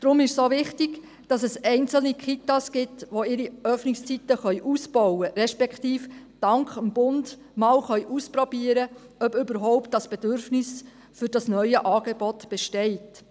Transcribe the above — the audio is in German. Deshalb ist es wichtig, einzelne Kitas zu haben, die ihre Öffnungszeiten ausbauen können, respektive die dank des Bundes ausprobieren können, ob ein Bedürfnis für das neue Angebot überhaupt besteht.